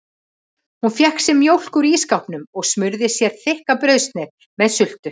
Hún fékk sér mjólk úr ísskápnum og smurði sér þykka brauðsneið með sultu.